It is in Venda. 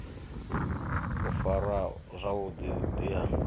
u farwa zwavhu ḓi ha